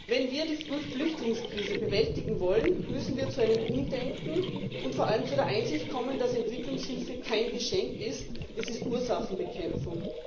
Wenn wir die Flüchtlingskrise bewältigen wollen, müssen wir zu einem Umdenken und vor allem zu der Einsicht kommen, dass Entwicklungshilfe kein Geschenk ist, es ist Ursachenbekämpfung.